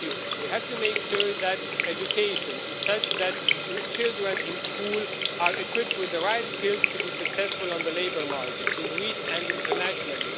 We have to make sure that education is such that children in school are equipped with the right skills to be successful on the labour markets in Greece and internationally.